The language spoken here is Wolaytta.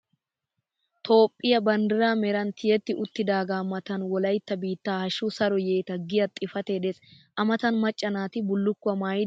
Toophphiya bandiraa meran tiyetti uttidagaa matan Wolaytta biittaa hashshu Saro yeeta giya xipatee des. A matan macca naati bullukkuwa maayidi waaniyonaa?